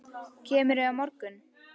Kemurðu á morgun?